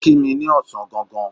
Ó kí mi ní ọ̀sán gangan.